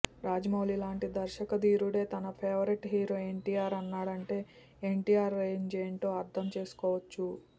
రాజమౌళి లాంటి దర్శకధీరుడే తన ఫేవరెట్ హీరో ఎన్టీఆర్ అన్నాడంటే ఎన్టీఆర్ రేంజ్ ఏంటో అర్ధం చేసుకోవచ్చు